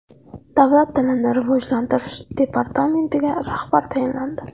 Davlat tilini rivojlantirish departamentiga rahbar tayinlandi.